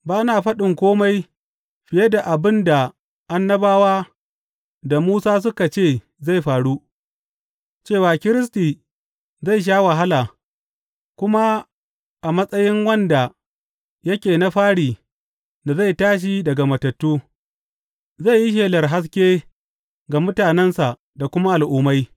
Ba na faɗin kome fiye da abin da annabawa da Musa suka ce zai faru, cewa Kiristi zai sha wahala, kuma a matsayin wanda yake na fari da zai tashi daga matattu, zai yi shelar haske ga mutanensa da kuma Al’ummai.